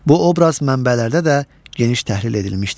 Bu obraz mənbələrdə də geniş təhlil edilmişdir.